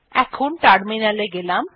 এখন টার্মিনাল এ গেলাম